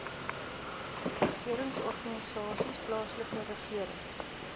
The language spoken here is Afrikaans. regeringsorganisasies plaaslike regering